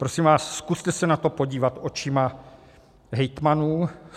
Prosím vás, zkuste se na to podívat očima hejtmanů.